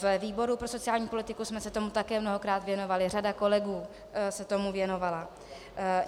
Ve výboru pro sociální politiku jsme se tomu také mnohokrát věnovali, řada kolegů se tomu věnovala.